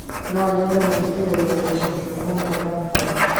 No nyende gũthikĩrĩria nyimbo cia bongo ndakuhoya